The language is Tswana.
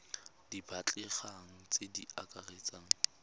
di batlegang tse di akaretsang